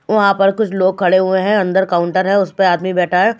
वहाँ पर कुछ लोग खड़े हुए हैं अंदर काउंटर है उस पे आदमी बैठा है।